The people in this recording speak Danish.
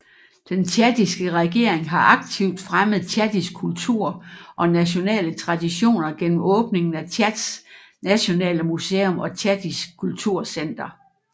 Den tchadiske regering har aktivt fremmet tchadisk kultur og nationale traditioner gennem åbningen af Tchads nationale museum og Tchadisk kulturcenter